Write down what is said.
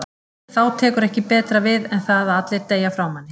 En þá tekur ekki betra við en það að allir deyja frá manni.